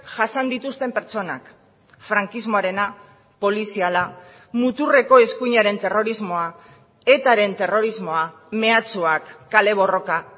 jasan dituzten pertsonak frankismoarena poliziala muturreko eskuinaren terrorismoa etaren terrorismoa mehatxuak kale borroka